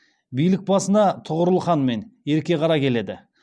билік басына тұғырыл хан мен ерке қара келеді